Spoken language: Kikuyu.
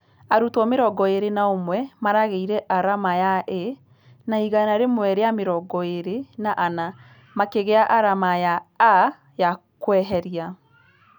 Arutwo mĩrongo ĩrĩ na ũmwe marageire arama ya A na igana rĩmwe rĩa mĩrongo ĩrĩ na ana makĩgĩa arama ya A ya kwĩheria.